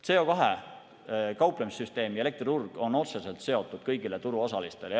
CO2‑ga kauplemise süsteem ja elektriturg on otseselt seotud kõigi turuosalistega.